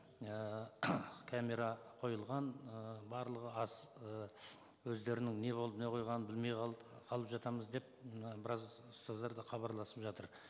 ііі камера қойылған ыыы барлығы ы өздерінің не болып не қойғанын білмей қалып жатамыз деп мына біраз ұстаздар да хабарласып жатыр